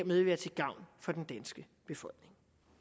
vil være til gavn for den danske befolkning